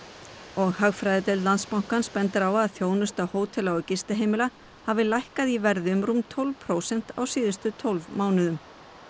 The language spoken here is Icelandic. og hagfræðideild Landsbankans bendir á að þjónusta hótela og gistiheimila hafi lækkað í verði um rúm tólf prósent á síðustu tólf mánuðum